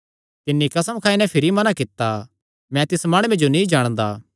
तिन्नी कसम खाई नैं भिरी मना कित्ता मैं तिस माणुये जो नीं जाणदा